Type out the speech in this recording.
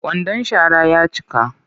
Kwandan shara ya cika